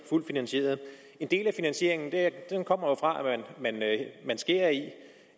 fuldt finansieret en del af finansieringen kommer jo fra at man skærer